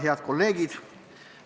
Head kolleegid!